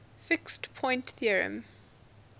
fixed point theorem